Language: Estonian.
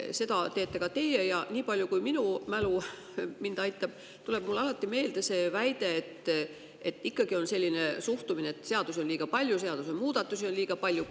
Seda teete ka teie ja nii palju, kui minu mälu mind aitab, tuleb mulle meelde see alatine väide, ikkagi selline suhtumine, et seadusi on liiga palju, seadusemuudatusi on liiga palju.